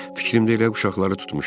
Fikrimdə elə uşaqları tutmuşdum.